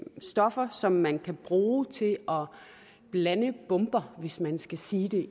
stoffer som man kan bruge til at blande bomber hvis man skal sige det